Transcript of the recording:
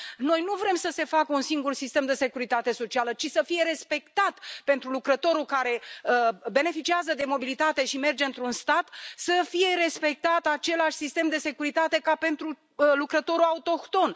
Noi nu vrem să se facă un singur sistem de securitate socială, ci să fie respectat pentru lucrătorul care beneficiază de mobilitate și merge într un stat să fie respectat același sistem de securitate ca pentru lucrătorul autohton.